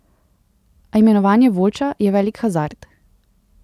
A imenovanje Voljča je velik hazard.